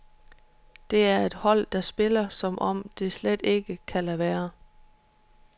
Det er et hold, der spiller, som om det slet ikke kan lade være.